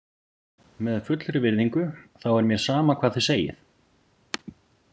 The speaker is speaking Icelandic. Með fullri virðingu þá er mér sama hvað þið segið.